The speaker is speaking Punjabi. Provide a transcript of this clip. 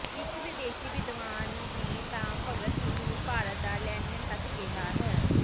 ਇਕ ਵਿਦੇਸ਼ੀ ਵਿਦਵਾਨ ਨੇ ਤਾਂ ਭਗਤ ਸਿੰਘ ਨੂੰ ਭਾਰਤ ਦਾ ਲੈਨਿਨ ਤੱਕ ਕਿਹਾ ਹੈ